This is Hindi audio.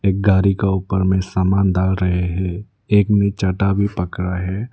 एक गाड़ी के ऊपर में समान डाल रहे हैं एक ने चटा भी पकड़ा है।